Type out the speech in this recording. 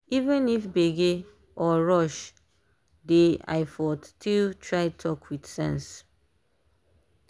even if gbege or rush dey i fo still try talk with sense.